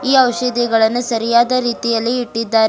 ಈ ಔಷಧಿಗಳನ್ನು ಸರಿಯಾದ ರೀತಿಯಲ್ಲಿ ಇಟ್ಟಿದ್ದಾರೆ.